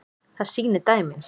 Það sýni dæmin.